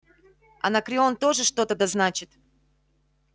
анакреон тоже что-то да значит